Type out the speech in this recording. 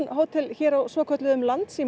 hótel hér á svokölluðum